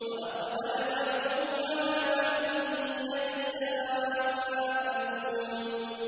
وَأَقْبَلَ بَعْضُهُمْ عَلَىٰ بَعْضٍ يَتَسَاءَلُونَ